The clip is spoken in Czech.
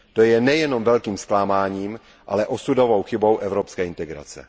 To je nejenom velkým zklamáním, ale osudovou chybou evropské integrace.